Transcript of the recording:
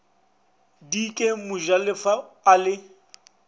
d ke mojalefa a le